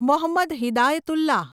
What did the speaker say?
Mohammad Hidayatullah